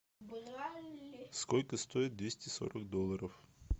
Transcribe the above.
сколько стоит двести сорок долларов